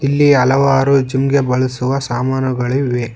ಇಲ್ಲಿ ಹಲವಾರು ಜಿಮ್ ಗೆ ಬಳಸುವ ಸಾಮಾನುಗಳಿವೆ.